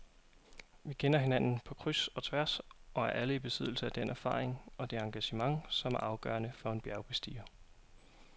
Vi kender hinanden på kryds og tværs og er alle i besiddelse af den erfaring og det engagement, som er afgørende for en bjergbestiger.